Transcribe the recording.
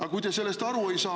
Aga kui te sellest aru ei saa …